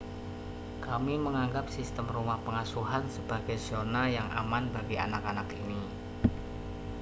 kami menganggap sistem rumah pengasuhan sebagai zona yang aman bagi anak-anak ini